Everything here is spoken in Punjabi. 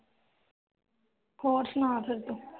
ਹੋਰ ਸੁਣਾ ਫਿਰ ਤੂੰ